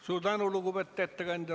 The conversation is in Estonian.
Suur tänu, lugupeetud ettekandja!